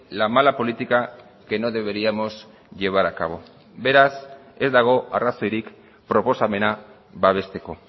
la mala política que no deberíamos llevar a cabo beraz ez dago arrazoirik proposamena babesteko